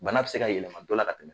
Bana bɛ se ka yɛlɛma dɔ la ka tɛmɛn.